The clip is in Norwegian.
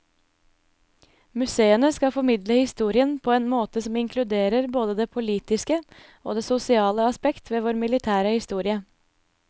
Museene skal formidle historien på en måte som inkluderer både det politiske og det sosiale aspekt ved vår militære historie.